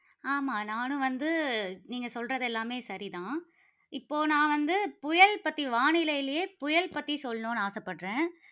ஆமாம் நானும் வந்து, நீங்க சொல்றது எல்லாமே சரிதான். இப்போ நான் வந்து புயல் பற்றி, வானிலைலயே புயல் பற்றி சொல்லணும்னு ஆசைப்படுகிறேன்.